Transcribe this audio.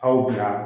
Aw bɛ yan